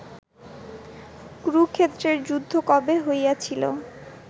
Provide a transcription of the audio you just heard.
কুরুক্ষেত্রের যুদ্ধ কবে হইয়াছিল